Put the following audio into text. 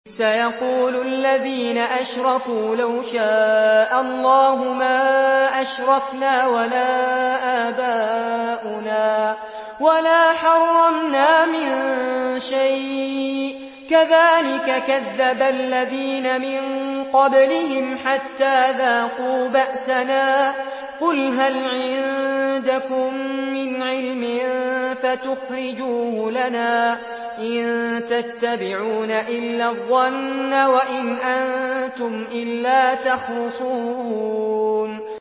سَيَقُولُ الَّذِينَ أَشْرَكُوا لَوْ شَاءَ اللَّهُ مَا أَشْرَكْنَا وَلَا آبَاؤُنَا وَلَا حَرَّمْنَا مِن شَيْءٍ ۚ كَذَٰلِكَ كَذَّبَ الَّذِينَ مِن قَبْلِهِمْ حَتَّىٰ ذَاقُوا بَأْسَنَا ۗ قُلْ هَلْ عِندَكُم مِّنْ عِلْمٍ فَتُخْرِجُوهُ لَنَا ۖ إِن تَتَّبِعُونَ إِلَّا الظَّنَّ وَإِنْ أَنتُمْ إِلَّا تَخْرُصُونَ